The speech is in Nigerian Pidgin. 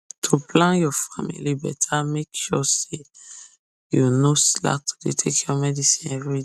to plan your family better make sure say you no slack to dey take your medicine everyday